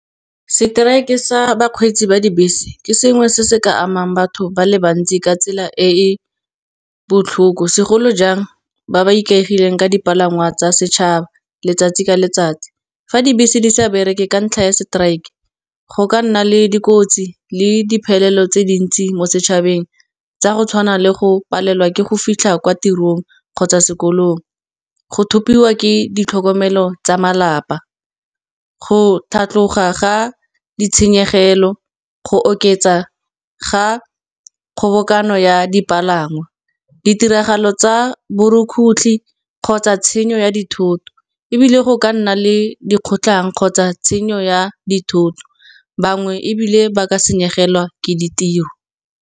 Seteraeke sa bakgweetsi ba dibese ke sengwe se se ka amang batho ba le bantsi ka tsela e e botlhoko. Segolo jang ba ba ikaegileng ka dipalangwa tsa setšhaba letsatsi ka letsatsi, fa dibese di sa bereke ka ntlha ya strike go ka nna le dikotsi le diphelelo tse dintsi mo setšhabeng, tsa go tshwana le go palelwa ke go fitlha kwa tirong kgotsa sekolong. Go thupiwa ke ditlhokomelo tsa malapa, go tlhatlhoga ga ditshenyegelo, go oketsa ga kgobokanyo ya dipalangwa, ditiragalo tsa boroko otlhe kgotsa tshenyo ya dithoto. Ebile go ka nna le dikgotlhang kgotsa tshenyo ya dithoto, bangwe ebile ba ka senyegelwa ke ditiro.